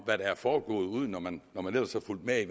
der er foregået udeomkring når man ellers har fulgt med i